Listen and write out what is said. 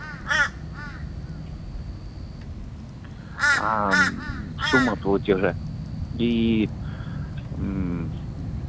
аа мм сумма платежа и мм